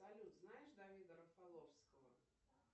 салют знаешь давида рафаловского